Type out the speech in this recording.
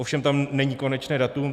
Ovšem tam není konečné datum.